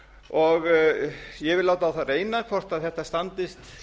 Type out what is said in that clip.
og ég vil láta á það reyna hvort þetta standist